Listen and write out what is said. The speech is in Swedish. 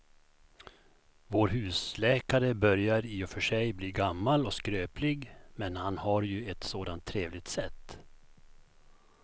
Vår husläkare börjar i och för sig bli gammal och skröplig, men han har ju ett sådant trevligt sätt!